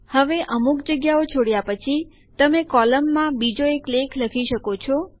હવે અમુક જગ્યાઓ છોડ્યા પછી તમે કોલમમાં બીજો એક લેખ લખી શકો છો